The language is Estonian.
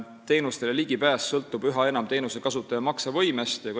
Teenustele ligipääs sõltub üha enam teenusekasutaja maksevõimest.